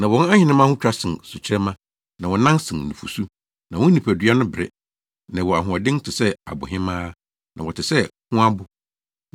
Na wɔn ahenemma ho twa sen sukyerɛmma, na wɔnan sen nufusu, na wɔn nipadua no bere, na ɛwɔ ahoɔden te sɛ abohemaa, na wɔte sɛ hoabo.